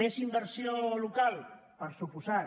més inversió local per descomptat